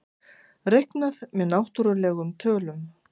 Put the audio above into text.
Reiknað með náttúrlegum tölum.